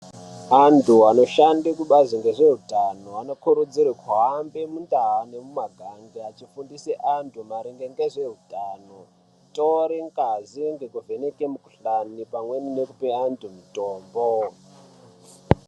Vantu vanoshanda kubazi rezvehutano vanokurudzirwa kuhambe mundaa nemumagange achifundisa vantu maringe nezvehutano kutore ngazi nekuvheneka mikuhlani pamweni nekupa antu mitombo.